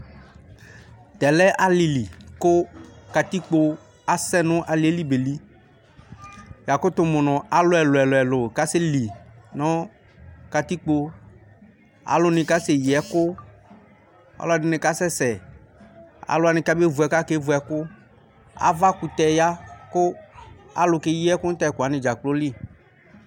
Tɛ lɛ alili kʋ katipko asɛnʋ alieli beli yakʋ mʋ nʋ alʋ ɛlʋ ɛlʋ kaseli nʋ katikpo alʋ ni kasɛ yi ɛkʋ alʋɛdini kasɛsɛ alʋ wani kake vʋ ɛkʋ kevʋ ɛkʋ avakʋtɛ ya kʋ alʋ keyi ɛkʋ tʋ ɛkʋ wani dzakplo li